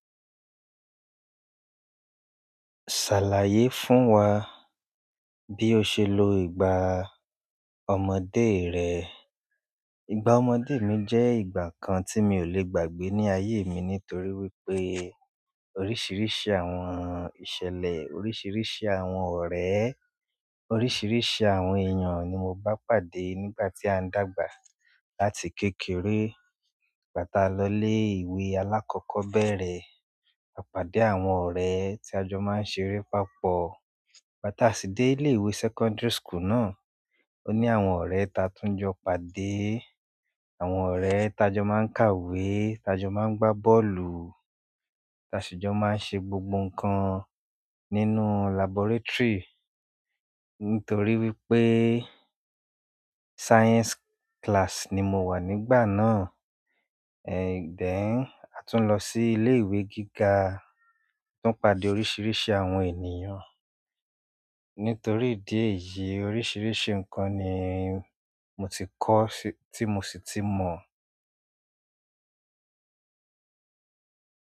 "Ṣàlàyé fún wa bí o ṣe lo ìgbà ọmọdé rẹ? Ìgbà ọmọdé mi jẹ́ ìgbà kan tí mi ò le gbàgbé ní ayé mi nítorí wípé oríṣiríṣi àwọn ìṣẹ̀lẹ̀, oríṣiríṣi àwọn ọ̀rẹ́, oríṣiríṣi àwọn èèyàn ni mo bá pàdé nígbà tí à ń dàgbà. Láti kékeré nígbà tá a lọ ilé ìwé alákọ́kọ́bẹ́rẹ́, a pàdé àwọn ọ̀rẹ́ tí a jọ máa ń ṣeré papọ̀. Nígbà tá a sì dé ilé ìwé secondary school náà, ó ní àwọn ọ̀rẹ́ ta tún jọ pàdé, àwọn ọ̀rẹ́ ta jọ máa ń kàwé, ta jọ máa ń gbá bọ́ọ̀lù, ta sì jọ máa ń ṣe gbogbo nǹkan nínú laboratory nítorí wípé science class ni mo wà nígbà náà. Díẹ̀ a tún lọ sí ilé ìwé gíga, tún pàdé oríṣiríṣi àwọn ènìyàn. Nítorí ìdí èyí, oríṣiríṣi nǹkan ni mo ti kọ́ tí mo sì ti mọ̀.